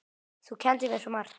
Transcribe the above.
Þú kenndir mér svo margt.